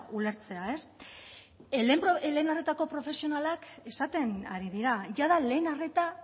ulertzea ez lehen arretako profesionalak esaten ari dira jada lehen arreta